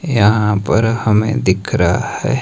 यहां पर हमें दिख रहा है।